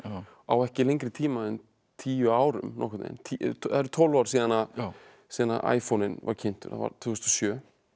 á ekki lengri tíma en tíu árum nokkurn veginn það eru tólf ár síðan síðan iPhone inn var kynntur það var tvö þúsund og sjö